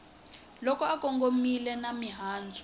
loko u kongomanile na mahandza